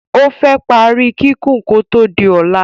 ofé pari kikun ko to di óla